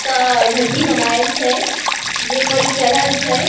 क ढढही बनाएल छै जे पे इ चढ़ल छै।